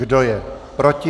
Kdo je proti?